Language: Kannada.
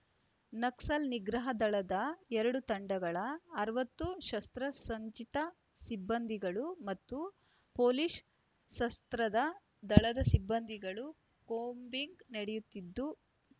ನಕ್ಸಲ್ ನಿಗ್ರಹ ದಳದ ಎರಡು ತಂಡಗಳ ಅರವತ್ತು ಶಸ್ತ್ರಸಜ್ಜಿತ ಸಿಬ್ಬಂದಿಗಳು ಮತ್ತು ಪೊಲೀಸ್ ಸಶಸ್ತ್ರ ದಳದ ಸಿಬ್ಬಂದಿಗಳು ಕೂಂಬಿಂಗ್ ನಡೆಯುತ್ತಿದ್ದು